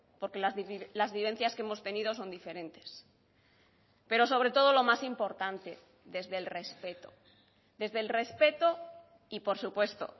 porque las vivencias que hemos tenido son diferentes pero sobre todo lo más importante desde el respeto desde el respeto y por supuesto